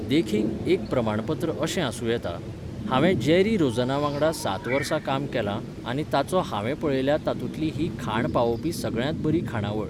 देखीक, एक प्रमाणपत्र अशें आसूं येता 'हांवें जेरी रोझनावांगडा सात वर्सां काम केलां आनी ताचो हांवें पळयल्या तातूंतली ही खाण पावोवपी सगळ्यांत बरी खाणावळ!